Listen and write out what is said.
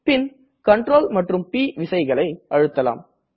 பின் Ctrl மற்றும் ப் விசைகளை அழுத்தலாம்